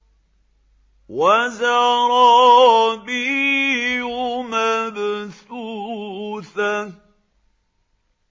وَزَرَابِيُّ مَبْثُوثَةٌ